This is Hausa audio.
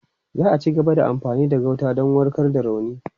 Za a cigaba da amfani da gauta don warkar da rauni.